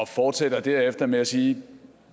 fortsætter derefter med at sige